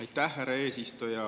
Aitäh, härra eesistuja!